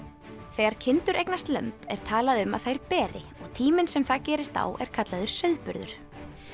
þegar kindur eignast lömb er talað um að þær beri og tíminn sem það gerist á er kallaður sauðburður